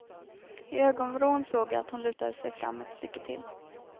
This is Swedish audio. I ögonvrån såg jag att hon lutade sig fram ett stycke till.